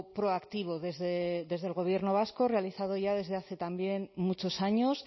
proactivo desde el gobierno vasco realizado ya desde hace también muchos años